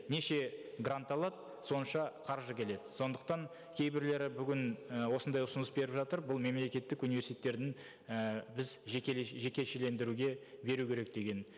неше грант алады сонша қаржы келеді сондықтан кейбірлері бүгін і осындай ұсыныс беріп жатыр бұл мемлекеттік университеттердің і біз жекешелендіруге беру керек деген